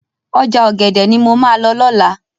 Ọjà ọ̀gẹ̀dẹ̀ ni mo máa lọ lọ́la.